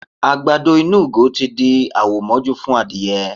Àgbàdo inú ìgò tí di àwò mọ́jú fún adìyẹ.